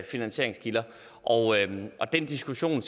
finansieringskilder og den diskussion